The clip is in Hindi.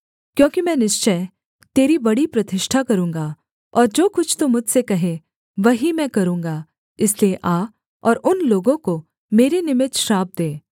क्योंकि मैं निश्चय तेरी बड़ी प्रतिष्ठा करूँगा और जो कुछ तू मुझसे कहे वही मैं करूँगा इसलिए आ और उन लोगों को मेरे निमित्त श्राप दे